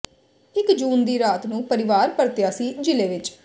ਇੱਕ ਜੂਨ ਦੀ ਰਾਤ ਨੂੰ ਪਰਿਵਾਰ ਪਰਤਿਆ ਸੀ ਜ਼ਿਲ੍ਹੇ ਵਿੱਚ